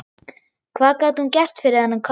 Hvað gat hún gert fyrir þennan kött?